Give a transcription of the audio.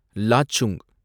Lachung